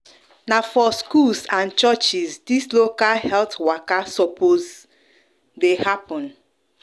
na for schools and churches dis local health waka sopos the happen